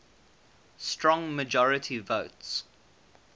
strong majority votes